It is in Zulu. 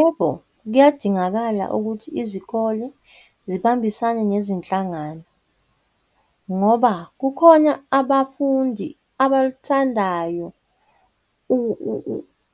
Yebo, kuyadingakala ukuthi izikole zibambisane nezinhlangano ngoba kukhona abafundi abalithandayo